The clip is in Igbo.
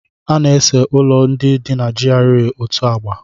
A na-ese ụlọ ndị dị na GRA otu agba.